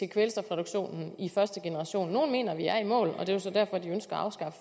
kvælstofreduktionen i første generation nogle mener vi er i mål og det er jo så derfor de ønsker